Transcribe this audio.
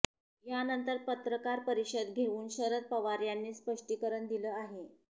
यानंतर पत्रकार परिषद घेऊन शरद पवार यांनी स्पष्टीकरण दिलं आहे